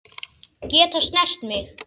Geta snert mig.